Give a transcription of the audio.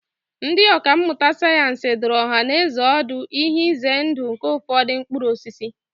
Ndị ọkà mmụta sayensị dụrụ ọhanaeze ọdụ ihe ize ndụ nke ụfọdụ mkpụrụ osisi